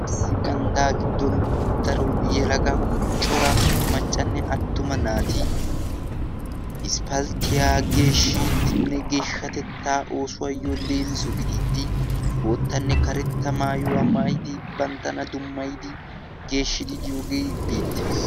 issi ganddaa giddon daro yelaga cora maccanne attuma naati isppalttiyaa geeshshiddinne geeshshatettaa oosuwaayyo leemisu gidiiddi boottanne karetta maayuwaa maayidi banttana dummayidi geeshshidi diyoogee beettees